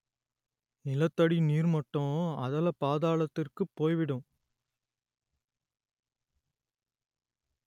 நிலத்தடி நீர்மட்டம் அதலபாதாளத்திற்குப் போய்விடும்